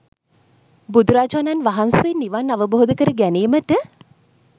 බුදුරජාණන් වහන්සේ නිවන් අවබෝධ කර ගැනීමට